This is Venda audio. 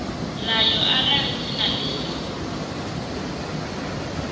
ḽayo arali dzina ḽi sa